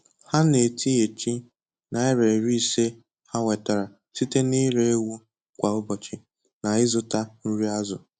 Ha na-etinyechi naira iri ise ha nwetara site na ịre ewu kwà ụbọchị na-ịzụta nri azụ